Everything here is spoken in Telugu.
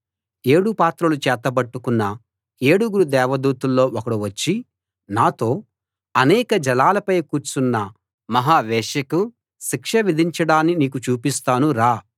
ఏడు పాత్రలు చేతబట్టుకున్న ఏడుగురు దేవదూతల్లో ఒకడు వచ్చి నాతో అనేక జలాలపై కూర్చున్న మహావేశ్యకు శిక్ష విధించడాన్ని నీకు చూపిస్తాను రా